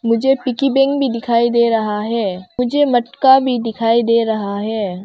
मुझे piggy bank भी दिखाई दे रहा है मुझे मटका भी दिखाई दे रहा है।